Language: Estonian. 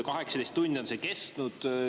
18 tundi on see kestnud.